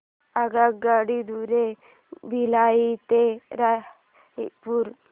आगगाडी द्वारे भिलाई ते रायपुर